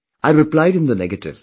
I replied in the negative